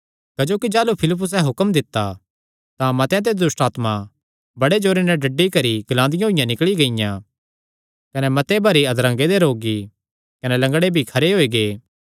क्जोकि जाह़लू फिलिप्पुसे हुक्म दित्ता तां मतेआं ते दुष्टआत्मां बड़े जोरे नैं डड्डी करी ग्लांदियां होईयां निकल़ी गियां कने मते भारी अधरंगे दे रोगी कने लंगड़े भी खरे होई गै